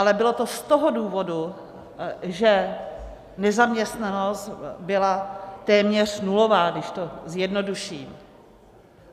Ale bylo to z toho důvodu, že nezaměstnanost byla téměř nulová, když to zjednoduším.